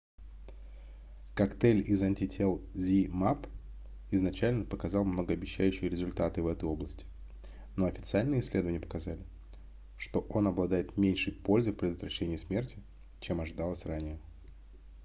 коктейль из антител zmapp изначально показал многообещающие результаты в этой области но официальные исследования показали что он обладает меньшей пользой в предотвращении смерти чем ожидалось ранее